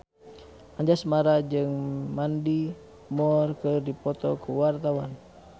Anjasmara jeung Mandy Moore keur dipoto ku wartawan